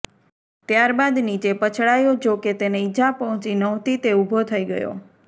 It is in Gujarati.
ત્યાર બાદ નીચે પછડાયો જોકે તેને ઈજા પહોંચી નહોતી તે ઊભો થઈ ગયો